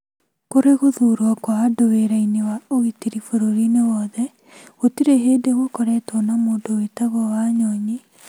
Kũrĩ gũthuurwo kwa andũ wĩra-inĩ wa ũgitĩri bũrũri-inĩ wothe, gũtirĩ hĩndĩ gũkoretwo na mũndũ wĩtagwo Wanyonyi,